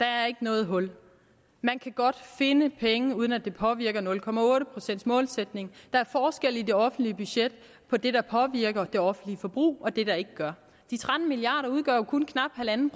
er ikke noget hul man kan godt finde penge uden at det påvirker nul procent målsætningen der er forskelle i det offentlige budget på det der påvirker det offentlige forbrug og det der ikke gør de tretten milliard kroner udgør jo kun knap en en